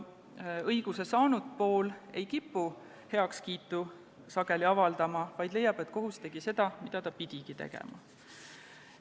Õiguse saanud pool ei kipu seevastu sageli heakskiitu avaldama, vaid leiab, et kohus tegi seda, mida ta pidigi tegema.